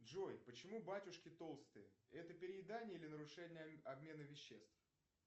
джой почему батюшки толстые это переедание или нарушение обмена веществ